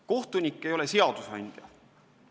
Kohtunik ei ole seadusandja.